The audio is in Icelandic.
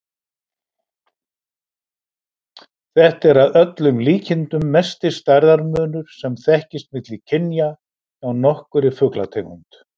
Þetta er að öllum líkindum mesti stærðarmunur sem þekkist milli kynja hjá nokkurri fuglategund.